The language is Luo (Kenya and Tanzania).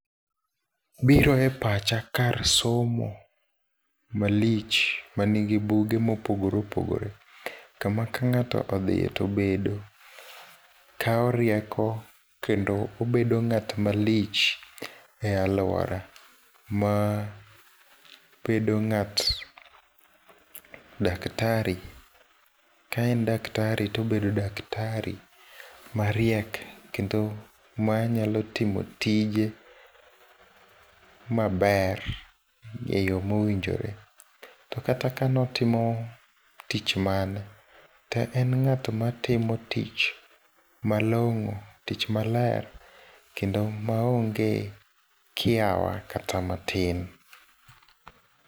Biro e pacha kar somo malich manigi buge mopogore opogore. Kama kang'ato odhie tobedo, kao rieko kendo obedo ng'at malich e aluora mabedo ng'at daktari. Ka en daktari tobedo daktari mariek kendo manyalo timo tije maber, eyo mowinjore. To kata ka notimo tich mane, to en ng'at matimo tich malong'o tich maler, kendo maonge kiawa kata matin.